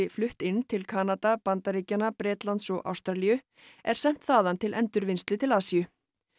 flutt inn til Kanada Bandaríkjanna Bretlands og Ástralíu er sent þaðan til endurvinnslu til Asíu